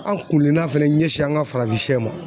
An kunkilena fɛnɛ ɲɛsin an ka farafinsɛ ma.